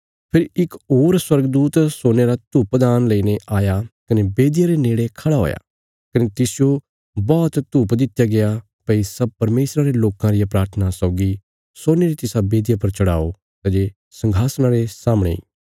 फेरी इक होर स्वर्गदूत सोने रा धूपदान लईने आया कने बेदिया रे नेड़े खड़ा हुआ कने तिसजो बौहत धूप दित्या गया भई सब परमेशरा रे लोकां रिया प्राथना सौगी सोने री तिसा वेदिया पर चढ़ाओ सै जे संघासणा रे सामणे इ